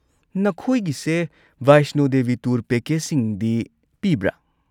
ꯅꯈꯣꯏꯒꯤꯁꯦ Vaishno Devi tour ꯄꯦꯀꯦꯖꯁꯤꯡꯗꯤ ꯄꯤꯕ꯭ꯔꯥ?